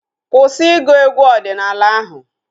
Kwụsị ịgụ egwu ọdịnala ahu!